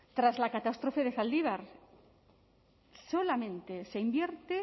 tras la catástrofe de zaldibar solamente se invierte